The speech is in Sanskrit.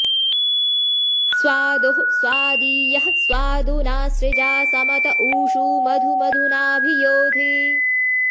स्वा॒दोः स्वादी॑यः स्वा॒दुना॑ सृजा॒ समत॑ ऊ॒षु मधु॒ मधु॑ना॒भि यो॑धि